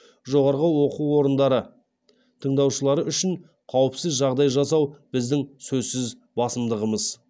жоғарғы оқу орындары тыңдаушылары үшін қауіпсіз жағдай жасау біздің сөзсіз басымдығымыз